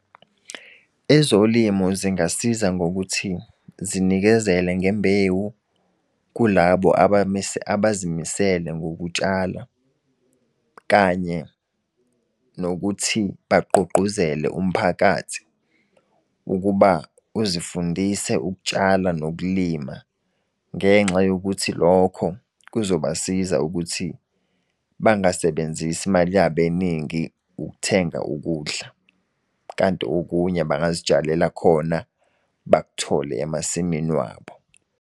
Ezolimo zingasiza ngokuthi zinikezele ngembewu kulabo abazimisele ngokutshala. Kanye nokuthi bagqugquzele umphakathi ukuba uzifundise ukutshala nokulima. Ngenxa yokuthi lokho kuzobasiza ukuthi bangasebenzisi imali yabo eningi ukuthenga ukudla. Kanti okunye bangazitshalela khona, bakuthole emasimini wabo.